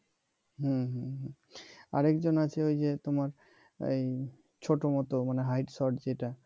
হম আর একজন আছে ওই যে তোমার ছোট মতো মানে height short যেটা